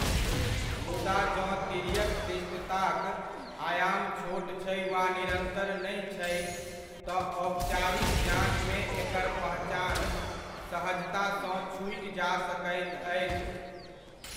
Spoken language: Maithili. मुदा जँ तिर्यक दृष्टिताक आयाम छोट छै वा निरन्तर नहि छै, तँ औपचारिक जाञ्चमे एकर पहचान सहजतासँ छूटि जा सकैत अछि।